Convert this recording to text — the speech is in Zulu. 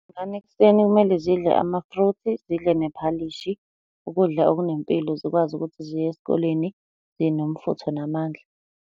Iy'ngane ekuseni kumele zidle amafruthi, zidle nephalishi. Ukudla okunempilo zikwazi ukuthi ziye esikoleni zinomfutho namandla.